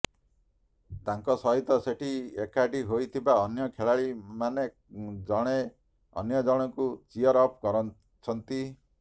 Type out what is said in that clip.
ତାଙ୍କ ସହିତ ସେଠି ଏକାଠୀ ହୋଇଥିବା ଅନ୍ୟ ଖେଳାଳିମାନେ ଜଣେ ଅନ୍ୟ ଜଣଙ୍କୁ ଚିଅର ଅପ୍ କରୁଛନ୍ତି